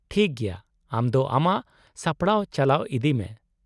-ᱴᱷᱤᱠ ᱜᱮᱭᱟ, ᱟᱢ ᱫᱚ ᱟᱢᱟᱜ ᱥᱟᱯᱲᱟᱣ ᱪᱟᱞᱟᱣ ᱤᱫᱤᱭ ᱢᱮ ᱾